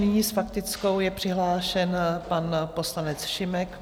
Nyní s faktickou je přihlášen pan poslanec Šimek.